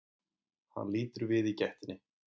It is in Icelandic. Hann lítur við í gættinni.